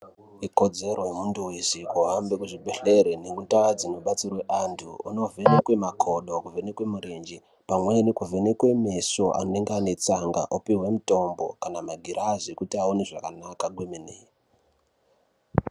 Ikodzero yemuntu veshe kuhambe kuzvibhedhlere nemundaa dzinobatsirwa antu, onovheneke makodo kuvhenekwe murenje. Pamweni kuvhenekwe meso anenge ane tsanga opihwa mutombo kana magirazi ekuti aone zvakanaka kwemene.